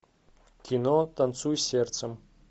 кино танцуй сердцем